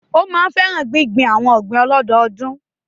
Ó máa ń fẹ́ràn gbíngbin àwon ọ̀gbìn ọlọ́dọdún